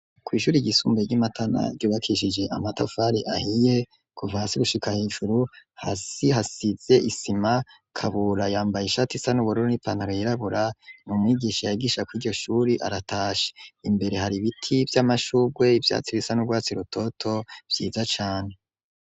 Kw'ishuri ryisumbuye ry'imatana ryubakishije amatafari ahiye kuva hasi gushika hejuru hasize isima, Kabura yambaye ishati isa n'ubururu n'ipantao yirabura nu mwigisha yagisha kuriryo shuri aratashe, imbere hari ibiti vy'amashugwe ivyatsi risa n'ubwatsi rutoto vyiza cane.